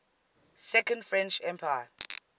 second french empire